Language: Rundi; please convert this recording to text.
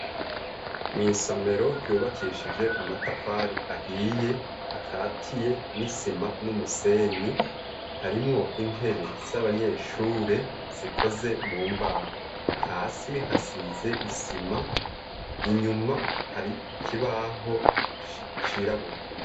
Mw' isomero ryubakishije amatafari ahiye akatiye n'isima n'umusenyi, harimwo intebe z'abanyeshure zikoze mu mbaho. Hasi hasize isima, inyuma hari ikibaho cirabura.